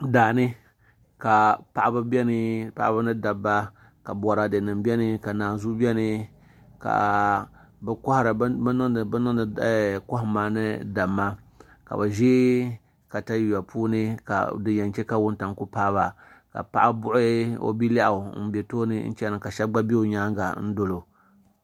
Daani ka paɣaba biɛni paɣaba ni dabba ka Boraadɛ nim biɛni ka naanzuu biɛni ka bi niŋdi kohamma ni damma ka bi ʒi katawiya puuni din yɛn chɛ ka wuntaŋ ku paaba ka paɣa buɣi o bilɛɣu n bɛ tooni chɛna ka shab bɛ i nyaangi dolo